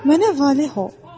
Mənə valeh ol!